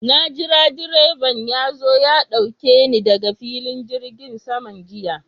Na jira direban ya zo ya ɗauke ni daga filin jirgin saman jiya.